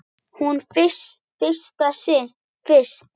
Hún fannst fyrst.